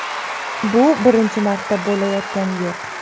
Bu birinchi marta bo‘layotgani yo‘q.